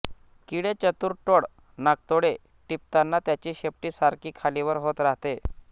किडे चतुर टोळ नाकतोडे टिपताना त्याची शेपटी सारखी खालीवर होत राहते